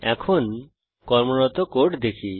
এখন কর্মরত কোড দেখি